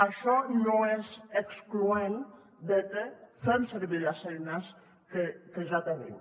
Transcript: això no és excloent de que fem servir les eines que ja tenim